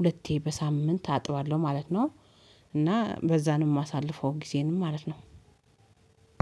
ሁለቴ በሳምንት አጥባለሁ ማለት ነው። እና በዛ ነው የማሳልፈው ጊዜንም ማለት ነው።